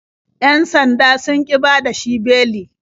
Yan sandan sun ƙi bada shi beli.